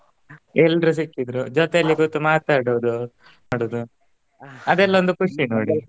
ಎಲ್ರೂ ಸಿಕ್ಕಿದ್ರು ಜೊತೆಯಲ್ಲಿ ಕೂತು ಮಾತಾಡುದು ಅದೆಲ್ಲ ಒಂದು ಖುಷಿ ನೋಡಿ